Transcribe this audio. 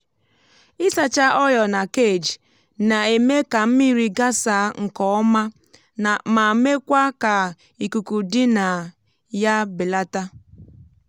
ị sacha ọ́yọ̀ na cage na-eme ka mmiri gasa nke ọma ma mekwa ka ikuku dị na ya belata.